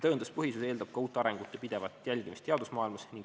Tõenduspõhisus eeldab ka uute arengute pidevat jälgimist teadusmaailmas.